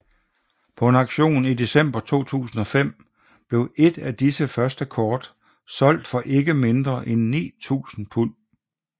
På en auktion i december 2005 blev et af disse første kort solgt for ikke mindre end 9000 pund